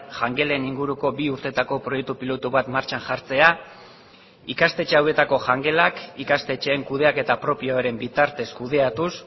jangelen inguruko bi urteetako proiektu pilotu bat martxan jartzea ikastetxe hauetako jangelak ikastetxeen kudeaketa propioaren bitartez kudeatuz